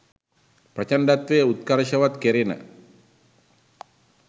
ප්‍රචණ්ඩත්වය උත්කර්ෂවත් කෙරෙන